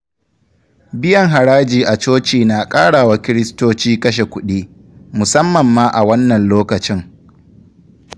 Biyan haraji a coci na ƙara wa Kiristoci kashe kuɗi, musamma ma a wannan lokacin.